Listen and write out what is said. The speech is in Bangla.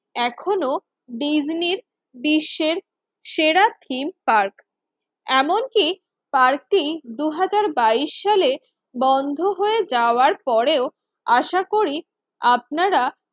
এখনো ডিজনি বিশ্বের সেরা থিম পার্ক। এমনকি পার্কটি দুই হাজার বাইশ সালে বন্ধ হয়ে যাওয়ার পরেও আশা করি আপনারা